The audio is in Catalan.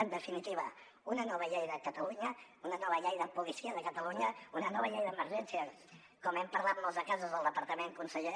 en definitiva una nova llei de catalunya una nova llei de policia de catalunya una nova llei d’emergències com hem parlat en molts de casos al departament conseller